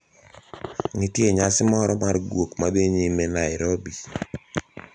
Nitie nyasi moro mar guok ma dhi nyime Nairobi